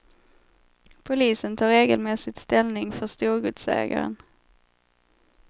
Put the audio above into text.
Polisen tar regelmässigt ställning för storgodsägaren.